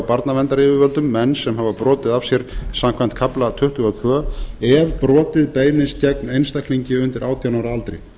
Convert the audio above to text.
barnaverndaryfirvöldum menn sem hafa brotið af sér samkvæmt kafla tuttugu og tvö ef brotið beinist gegn einstaklingi undir átján ára aldri